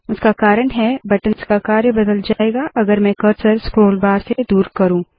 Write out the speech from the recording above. इसका कारण है बटंस का कार्य बदल जाएगा अगर मैं कर्सर स्क्रोल बार से दूर करू